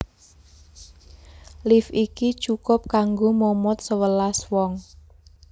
Lift iki cukup kanggo momot sewelas wong